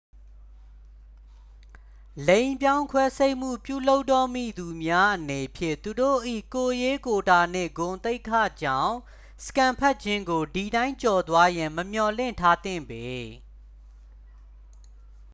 လိင်ပြောင်းခွဲစိတ်မှုပြုလုပ်တော့မည်သူများအနေဖြင့် သူတို့၏ ကိုယ်ရေးကိုယ်တာနှင့်ဂုဏ်သိက္ခာကြောင့် စကန်ဖတ်ခြင်းကိုဒီတိုင်းကျော်သွားရန် မမျှော်လင့်ထားသင့်ပေ